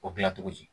O dilan cogo di